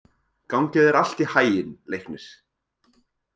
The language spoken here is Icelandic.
Gangi þér allt í haginn, Leiknir.